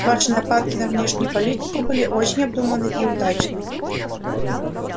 ваши нападки на внешнюю политику были очень обдуманны и удачны